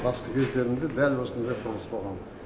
басты кездерінде дәл осындай құрылыс болған